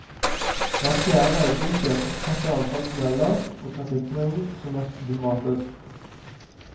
Hver fjerde veibruker oppfatter antall tunneler og trafikkmengden som mest problematisk.